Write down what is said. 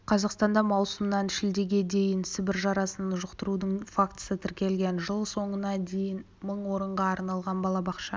қазақстанда маусымнан шілдеге дейін сібір жарасын жұқтырудың фактісі тіркелген жыл соңына дейін мың орынға арналған балабақша